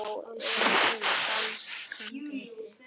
Þá er danskan betri.